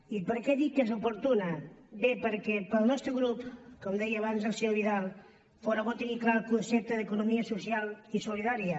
i per què dic que és oportuna bé perquè pel nostre grup com deia abans el senyor vidal fóra bo tenir clar el concepte d’economia social i solidària